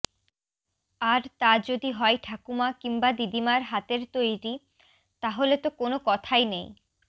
আর তা যদি হয় ঠাকুমা কিংবা দিদিমার হাতের তৈরি তাহলে তো কোনও কথাই নেই